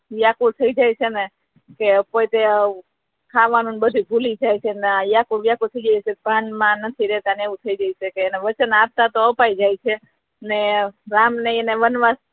વ્યાકૂળ થઈ જાય છે ને કોઈ બે ખાવા નુ બધુ ભુલી જાય છે ને વ્યાકૂળ વ્યાકૂળ થઈ જાય છે ભાન માથી નથી રેહતા અને એવુ થઈ જાય઼ છે અને વચન આપતા તો અપાઈ જાય છે અને રામ ને વનવાસ